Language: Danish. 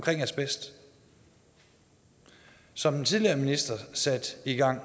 asbest som den tidligere minister satte i gang